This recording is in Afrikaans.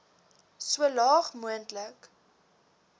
so laag moontlik